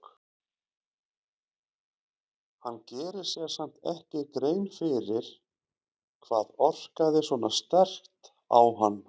Hann gerir sér samt ekki grein fyrir hvað orkaði svona sterkt á hann.